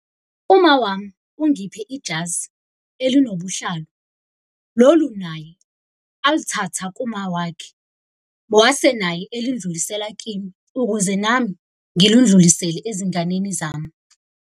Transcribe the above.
Uma wami ungiphe ijazi elinobuhlalu, lolu naye alithatha kumawakhe. Wase naye elindlulisela kimi, ukuze nami ngilundlulisele ezinganeni zami.